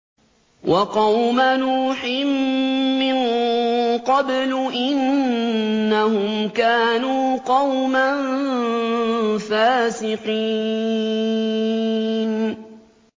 وَقَوْمَ نُوحٍ مِّن قَبْلُ ۖ إِنَّهُمْ كَانُوا قَوْمًا فَاسِقِينَ